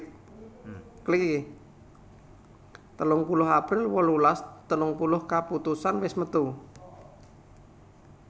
telung puluh april wolulas telung puluh kaputusan wis metu